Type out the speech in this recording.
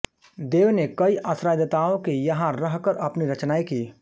देव ने कई आश्रयदाताओं के यहाँ रहकर अपनी रचनाएँ कीं